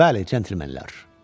Bəli, centlemenlər.